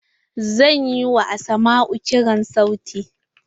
Zan yi wa asmau kirar sauti.